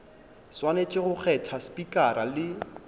swanetše go kgetha spikara le